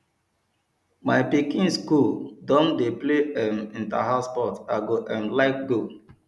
my pikin dem skool don dey play um interhouse sports i go um like go